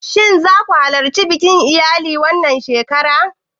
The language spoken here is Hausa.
Shin za ku halarci bikin iyali na wannan shekara?